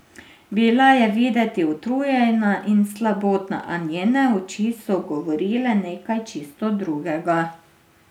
Bila je videti utrujena in slabotna, a njene oči so govorile nekaj čisto drugega.